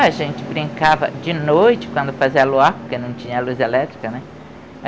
A gente brincava de noite quando fazia luar, porque não tinha luz elétrica, né?